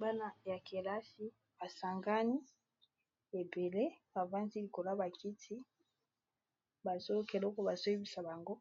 bana ya kelasi basangani ebele bavandi likoloya bakiti bazokeloko bazoyebisa bango